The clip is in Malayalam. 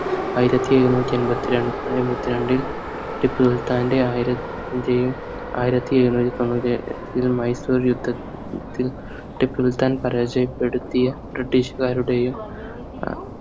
ആയിരത്തി എഴുന്നുറ്റി എൺപത്തി രണ്ട് എൺപത്തി രണ്ടിൽ ടിപ്പുസുൽത്താന്റെ ആയിരംന്റെയും ആയിരത്തി എഴുന്നുറ്റി തൊണ്ണൂറ്റി മൈസൂർ യുദ്ധത്തിൽ ടിപ്പുസുൽത്താൻ പരാജയപ്പെടുത്തിയ british കാരുടെയും ഏർ